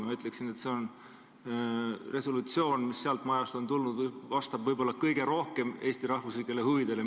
Ma ütleksin, et see resolutsioon vastab sealt majast tulnute seas, mida ma seni olen näinud, võib-olla kõige rohkem Eesti rahvuslikele huvidele.